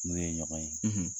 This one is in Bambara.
N'o ye ɲɔgɔn ye,